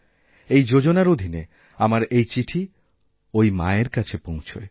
এই যোজনার অধীনে আমার এইচিঠি ওই মার কাছে পৌঁছায়